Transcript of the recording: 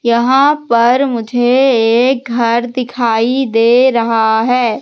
यहां पर मुझे एक घर दिखाई दे रहा है।